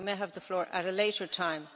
You may have the floor at a later time